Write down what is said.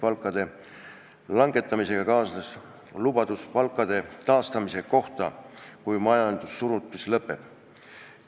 Palkade langetamisega kaasnes lubadus palkade taastamise kohta, kui majandussurutis lõpeb.